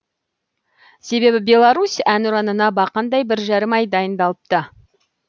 себебі беларусь әнұранына бақандай бір жарым ай дайындалыпты